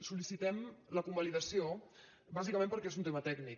sol·licitem la convalidació bàsicament perquè és un tema tècnic